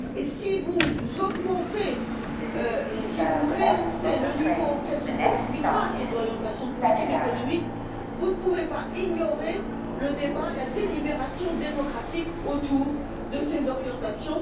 Si vous rehaussez le niveau auquel se fait l'arbitrage des orientations de politique économique, vous ne pouvez pas ignorer le débat, la délibération démocratique autour de ces orientations.